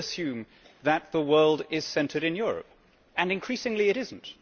We still assume that the world is centred in Europe, and increasingly it is not.